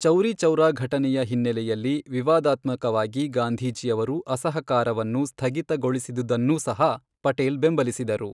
ಚೌರಿ ಚೌರಾ ಘಟನೆಯ ಹಿನ್ನೆಲೆಯಲ್ಲಿ ವಿವಾದಾತ್ಮಕವಾಗಿ ಗಾಂಧೀಜಿಯವರು ಅಸಹಕಾರವನ್ನು ಸ್ಥಗಿತಗೊಳಿಸಿದುದನ್ನೂ ಸಹ ಪಟೇಲ್ ಬೆಂಬಲಿಸಿದರು.